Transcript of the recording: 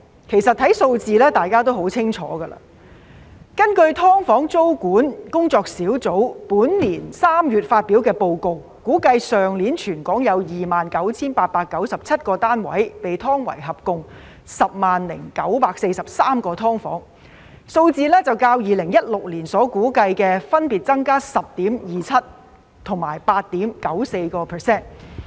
其實，從數字上大家亦很清楚，根據"劏房"租務管制研究工作小組本年3月發表的報告，估計去年全港有 29,897 個單位被劏為合共 100,943 個"劏房"，數字較2016年所估計的分別增加 10.27% 及 8.94%。